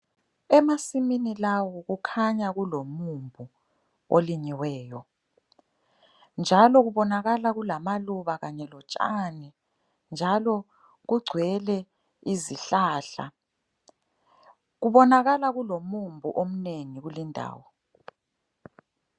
Emasimini lawo kukhanya kulomumbu olinyiweyo. Njalo kubonakala kulamaluba kanye lotshani. Njalo kugcwele izihlahla. Kubonakala kulomumbu omnengi kuleyi ndawo.